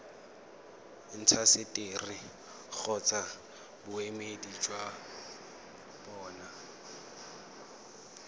intaseteri kgotsa boemedi jwa bona